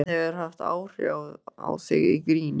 Hvað hefur haft áhrif á þig í gríni?